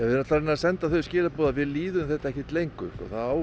að senda þau skilaboð að við líðum þetta ekkert lengur